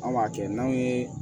An b'a kɛ n'anw ye